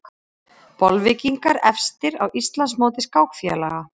Bolvíkingar efstir á Íslandsmóti skákfélaga